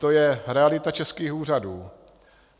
To je realita českých úřadů.